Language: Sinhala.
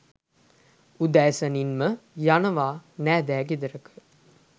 උදෑසනින්ම යනවා නෑදෑ ගෙදරක